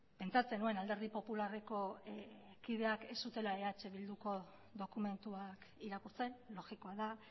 pentsatzen nuen alderdi popularreko kideak ez zutela eh bilduko dokumentuak irakurtzen logikoa da